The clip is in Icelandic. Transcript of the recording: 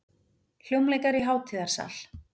hljómleikar í hátíðarsal.